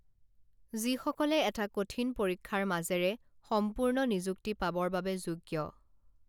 যিসকলে এটা কঠিন পৰীক্ষাৰ মাজেৰে সম্পূৰ্ণ নিযুক্তি পাবৰ বাবে যোগ্য